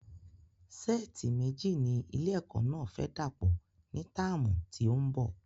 Sẹ́ẹ̀tì méji ni ilé ẹ̀kọ́ náà fẹ dàpò ní táàmù tí òún bo